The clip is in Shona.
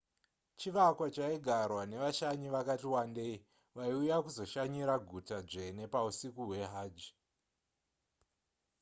chivakwa chaigarwa nevashanyi vakati wandei vaiuya kuzoshanyira guta dzvene pausiku hwehajj